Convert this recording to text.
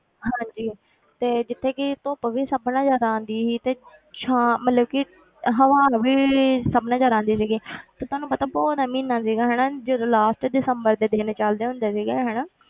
ਹਾਂਜੀ ਤੇ ਜਿੱਥੇ ਕਿ ਧੁੱਪ ਵੀ ਸਭ ਨਾਲੋਂ ਜ਼ਿਆਦਾ ਆਉਂਦੀ ਸੀ ਤੇ ਛਾਂ ਮਤਲਬ ਕਿ ਹਵਾਵਾਂ ਵੀ ਸਭ ਨਾਲੋਂ ਜ਼ਿਆਦਾ ਆਉਂਦੀ ਸੀਗੀ ਤੇ ਤੁਹਾਨੂੰ ਪਤਾ ਪੋਹ ਦਾ ਮਹੀਨਾ ਸੀਗਾ ਜਦੋਂ last ਵਿੱਚ ਦਸੰਬਰ ਦੇ ਦਿਨ ਚੱਲਦੇ ਹੁੰਦੇ ਸੀਗੇ ਹਨਾ,